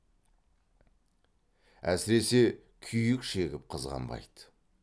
әсіресе күйік шегіп қызғанбайды